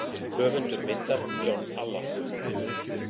Höfundur myndar: John Allan.